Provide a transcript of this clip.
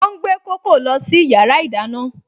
Ó ń gbé kókò lọ sí yàrá ìdáná